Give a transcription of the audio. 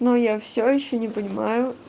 но я всё ещё не понимаю